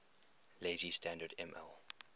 lazy standard ml